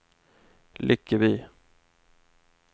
Lyckeby